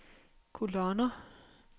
kolonner